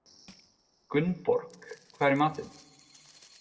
Gunnborg, hvað er í matinn?